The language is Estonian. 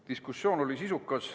Diskussioon oli sisukas.